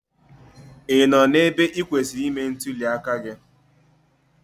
Ị nọ n'ebe ị kwesịrị ime ntụli aka gị?